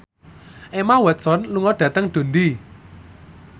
Emma Watson lunga dhateng Dundee